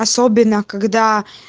особенно когда